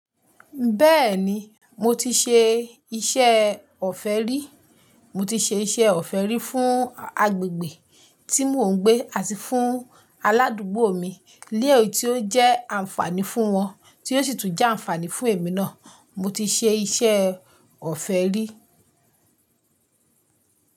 Bẹ́ẹ̀ni, mo ti ṣe iṣẹ́ ọ̀fẹ́ rí. Mo ti ṣe iṣẹ́ ọ̀fẹ́ rí fún agbègbè tí mò ń gbé àti fún aládùúgbò mi. Léyìí tí ó jẹ́ àǹfààní fún wọn tí ó sì tún jẹ́ àǹfààní fún èmi náà. Mo ti ṣe iṣẹ́ ọ̀fẹ́ rí.